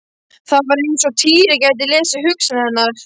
Það var eins og Týri gæti lesið hugsanir hennar.